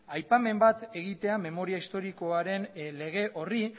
aipamen bat egitea memoria historikoaren lege horri